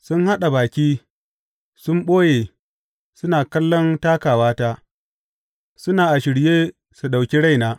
Sun haɗa baki, sun ɓoye, suna kallon takawata suna a shirye su ɗauki raina.